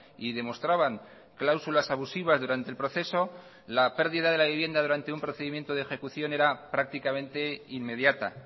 y demostraban cláusulas abusivas durante el proceso la pérdida de la vivienda durante un procedimiento de ejecución era prácticamente inmediata